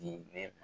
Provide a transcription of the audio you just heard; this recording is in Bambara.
Di ne